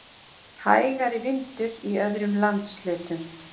Hægari vindur í öðrum landshlutum